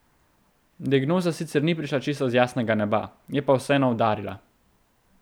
Diagnoza sicer ni prišla čisto z jasnega neba, je pa vseeno udarila.